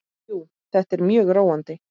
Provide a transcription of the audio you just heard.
Jú, þetta er mjög róandi.